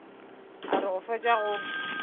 a re go fetša go